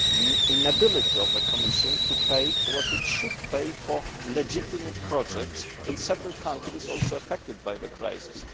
The inability of the Commission to pay what it should pay for legitimate projects in several countries is also affected by the crisis.